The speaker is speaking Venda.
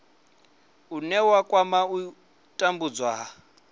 une wa kwama u tambudzwa